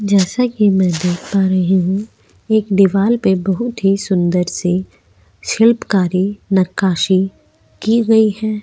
जैसे की मै देख पा रही हूँ एक दीवार पे बहुत ही सुंदर सी शीतकारी निकाशी की गई है।